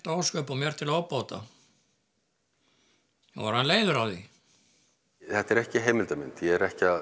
ósköp og mér til óbóta ég var orðinn leiður á því þetta er ekki heimildamynd ég er ekki að